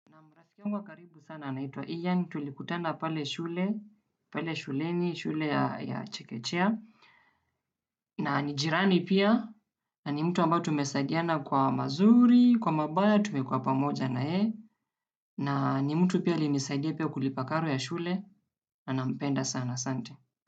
Naam, rafiki yangu wa karibu sana anaitwa Ian, tulikutana pale shule, pale shuleni, shule ya chekechea. Na ni jirani pia, na ni mtu ambaye tumesaidiana kwa mazuri, kwa mabaya tume kuwa pamoja na yeye. Na ni mtu pia alinisaidia pia kulipa karo ya shule, na nampenda sana, asante.